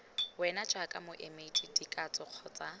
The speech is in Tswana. wena jaaka moemedi dikatso kgotsa